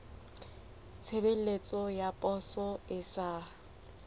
tshebeletso ya poso e sa